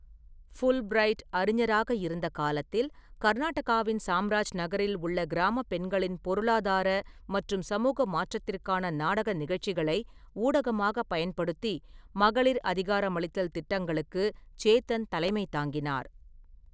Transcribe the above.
Fulbright அறிஞராக இருந்த காலத்தில், கர்நாடகாவின் சாம்ராஜ்நகரில் உள்ள கிராம பெண்களின் பொருளாதார மற்றும் சமூக மாற்றத்திற்காக நாடக நிகழ்ச்சிகளை ஊடகமாக பயன்படுத்தி மகளிர் அதிகாரமளித்தல் திட்டங்களுக்கு சேத்தன் தலைமை தாங்கினார்.